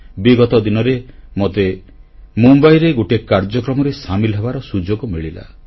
ବିଗତ ଦିନରେ ମୋତେ ମୁମ୍ବାଇରେ ଗୋଟିଏ କାର୍ଯ୍ୟକ୍ରମରେ ସାମିଲ ହେବାର ସୁଯୋଗ ମିଳିଲା